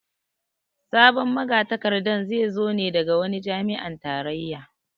Sabon magatakarda zai zo ne daga wani jami'an tarayya